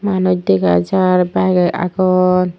manuj dega jar byge aagon.